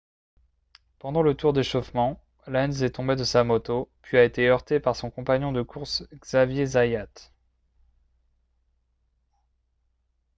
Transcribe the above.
pendant le tour d'échauffement lenz est tombé de sa moto puis a été heurté par son compagnon de course xavier zayat